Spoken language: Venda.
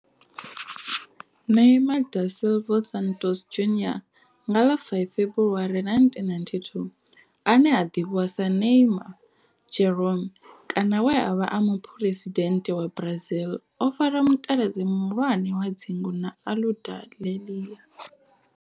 Neymar da Silva Santos Junior nga ḽa 5 February 1992, ane a ḓivhiwa sa Neymar Jeromme kana we a vha e muphuresidennde wa Brazil o fara mutaladzi muhulwane wa dzingu na Aludalelia.